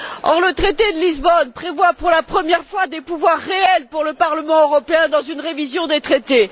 Or, le traité de Lisbonne prévoit pour la première fois des pouvoirs réels pour le Parlement européen dans une révision des traités.